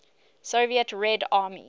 soviet red army